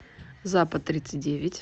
запад тридцать девять